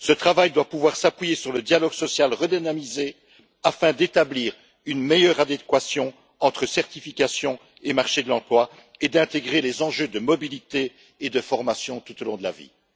Ce travail doit pouvoir s'appuyer sur le dialogue social redynamisé afin d'établir une meilleure adéquation entre certifications et marché de l'emploi et d'intégrer les enjeux de mobilité et de formation tout au long de la vie.